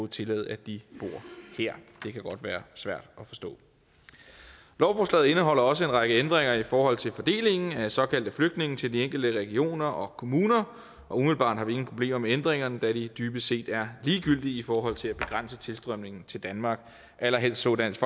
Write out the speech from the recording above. tillade at de bor her det kan godt være svært at forstå lovforslaget indeholder også en række ændringer i forhold til fordelingen af såkaldte flygtninge til de enkelte regioner og kommuner og umiddelbart har vi ingen problemer med ændringerne da de dybest set er ligegyldige i forhold til at begrænse tilstrømningen til danmark allerhelst så dansk